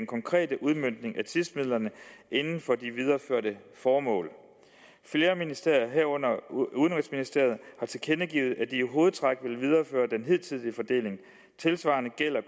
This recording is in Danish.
konkrete udmøntning af tipsmidlerne inden for de videreførte formål flere ministerier herunder udenrigsministeriet har tilkendegivet at de hovedtræk vil videreføre den hidtidige fordeling tilsvarende gælder